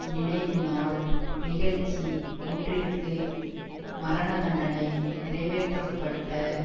நினைவு நாள் நிகழ்ச்சி ஒன்றிற்கு மரண தண்டனை நிறைவேற்றப்பட்ட